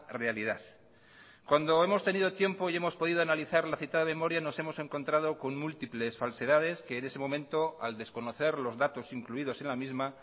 realidad cuando hemos tenido tiempo y hemos podido analizar la citada memoria nos hemos encontrado con múltiples falsedades que en ese momento al desconocer los datos incluidos en la misma